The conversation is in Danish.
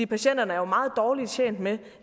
patienterne er jo meget dårligt tjent med